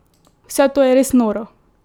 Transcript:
Vse to je res noro!